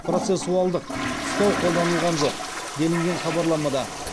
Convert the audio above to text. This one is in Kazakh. процессуалдық ұстау қолданылған жоқ делінген хабарламада